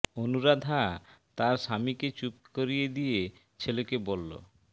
অনুরাধা তার স্বামী কে চুপ করিয়ে দিয়ে ছেলে কে বলল